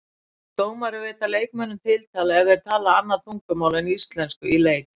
Má dómari veita leikmönnum tiltal ef þeir tala annað tungumál en íslensku í leik?